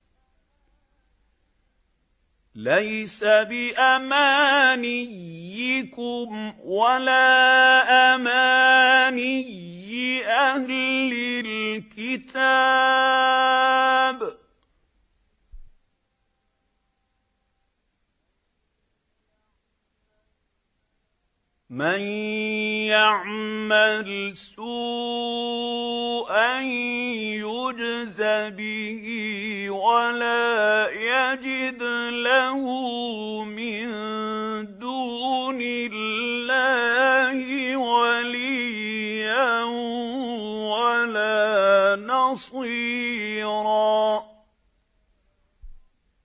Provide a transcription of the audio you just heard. لَّيْسَ بِأَمَانِيِّكُمْ وَلَا أَمَانِيِّ أَهْلِ الْكِتَابِ ۗ مَن يَعْمَلْ سُوءًا يُجْزَ بِهِ وَلَا يَجِدْ لَهُ مِن دُونِ اللَّهِ وَلِيًّا وَلَا نَصِيرًا